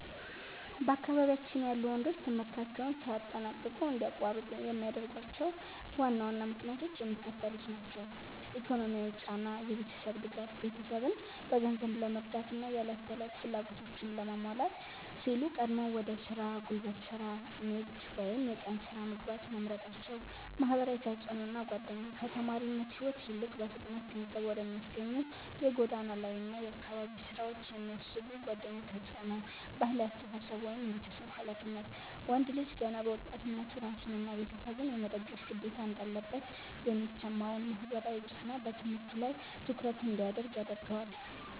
በአካባቢያችን ያሉ ወንዶች ትምህርታቸውን ሳያጠናቅቁ እንዲያቋርጡ የሚያደርጓቸው ዋና ዋና ምክንያቶች የሚከተሉት ናቸው፦ ኢኮኖሚያዊ ጫና (የቤተሰብ ድጋፍ)፦ ቤተሰብን በገንዘብ ለመርዳትና የዕለት ተዕለት ፍላጎቶችን ለማሟላት ሲሉ ቀድመው ወደ ሥራ (ጉልበት ሥራ፣ ንግድ ወይም የቀን ሥራ) መግባት መምረጣቸው። ማህበራዊ ተጽዕኖና ጓደኛ፦ ከተማሪነት ሕይወት ይልቅ በፍጥነት ገንዘብ ወደሚያስገኙ የጎዳና ላይና የአካባቢ ሥራዎች የሚስቡ ጓደኞች ተጽዕኖ። ባህላዊ አስተሳሰብ (የቤተሰብ ኃላፊነት)፦ ወንድ ልጅ ገና በወጣትነቱ ራሱንና ቤተሰቡን የመደገፍ ግዴታ እንዳለበት የሚሰማው ማህበራዊ ጫና በትምህርቱ ላይ ትኩረት እንዳያደርግ ያደርገዋል።